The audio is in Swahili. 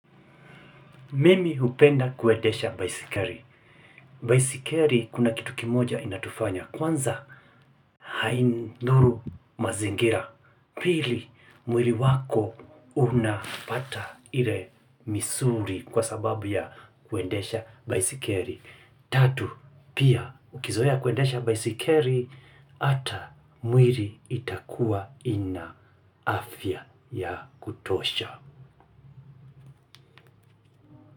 Mimi hupenda kuendesha baisikeli. Baisikeli kuna kitu kimoja inatufanya. Kwanza haidhuru mazingira. Pili, mwili wako unapata ile misuli kwa sababu ya kuendesha baisikeli. Tatu, pia ukizoea kuendesha baisikeli, ata mwili itakuwa ina afya ya kutosha.